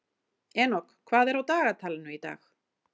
Enok, hvað er á dagatalinu í dag?